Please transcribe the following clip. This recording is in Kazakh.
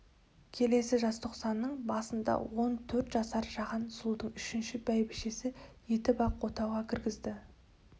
келесі жазтоқсанның басында он төрт жасар жаған сұлуды үшінші бәйбішесі етіп ақ отауға кіргізді